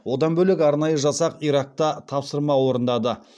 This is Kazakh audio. одан бөлек арнайы жасақ иракта тапсырма орындады